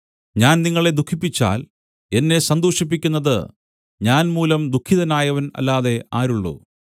ഞാൻ നിങ്ങളെ ദുഃഖിപ്പിച്ചാൽ എന്നെ സന്തോഷിപ്പിക്കുന്നത് ഞാൻ മൂലം ദുഃഖിതനായവൻ അല്ലാതെ ആരുള്ളു